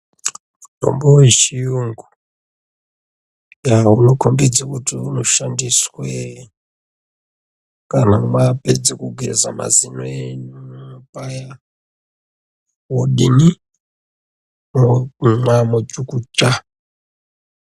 Mitombo wechiyungu unokombidze kuti unoshandiswe kana mapedza kugeza mazino enyu paya ,wodini ?Momwa mochukucha.